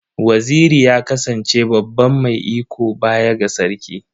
Waziri ya kasance baban mai iko baya ga Sarki.